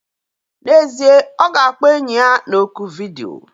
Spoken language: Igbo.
N'ezie, ọ ga-akpọ enyi ya na oku vidiyo.